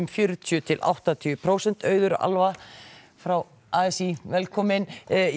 fjörutíu til áttatíu prósent auður Alva frá a s í velkomin